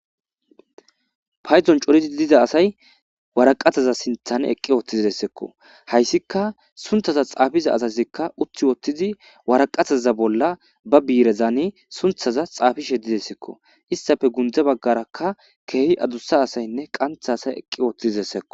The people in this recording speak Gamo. paydon coridi liza asay waraqataza sinthan eqqi ooththizdessekko hayssika sunthaza xaafiza asazikka uthi woottizi waraqataza bolla ba biirezane sunthaza xaafi shedidessekko istafe gundze baggarakka keehi adussa asaynne qantha asay eqqi oothidessekko